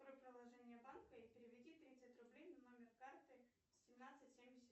открой приложение банка и переведи тридцать рублей на номер карты семнадцать семьдесят